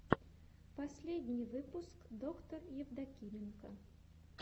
последний выпуск доктор евдокименко